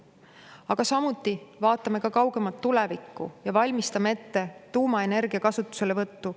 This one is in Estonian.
Aga samuti vaatame kaugemat tulevikku ja valmistame ette tuumaenergia kasutuselevõttu.